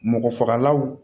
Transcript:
Mɔgɔ fagalaw